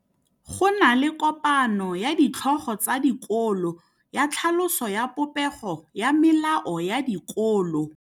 Go na le kopanô ya ditlhogo tsa dikolo ya tlhaloso ya popêgô ya melao ya dikolo.